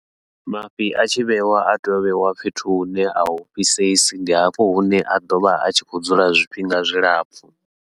Mafhi a tshi vheiwa a tea u vheiwa fhethu hune ahu fhisesi, ndi hafho hune a ḓovha a tshi khou dzula zwifhinga zwilapfhu.